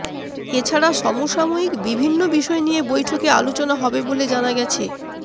এছাড়া সমসাময়িক বিভিন্ন বিষয় নিয়ে বৈঠকে আলোচনা হবে বলে জানা গেছে